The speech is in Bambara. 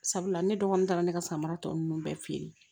Sabula ne dɔgɔnin taara ne ka samara tɔ ninnu bɛɛ feere